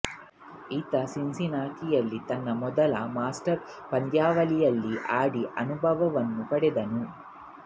ಈತ ಸಿನ್ಸಿನಾಟಿಯಲ್ಲಿ ತನ್ನ ಮೊದಲ ಮಾಸ್ಟರ್ಸ್ ಪಂದ್ಯಾವಳಿಯಲ್ಲಿ ಆಡಿದ ಅನುಭವವನ್ನು ಪಡೆದನು